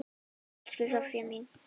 Elsku Soffía mín.